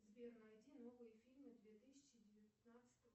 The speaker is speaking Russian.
сбер найди новые фильмы две тысячи девятнадцатого